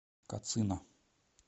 кацина